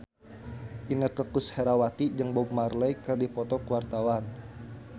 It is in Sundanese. Inneke Koesherawati jeung Bob Marley keur dipoto ku wartawan